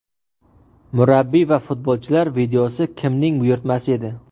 Murabbiy va futbolchilar videosi kimning buyurtmasi edi?